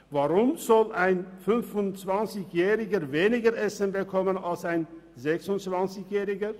Weshalb soll ein 25-Jähriger weniger Essen bekommen als ein 26-Jähriger?